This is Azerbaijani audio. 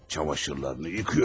Çamaşırlarını yuyur.